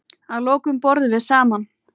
Að lokum borðum við saman.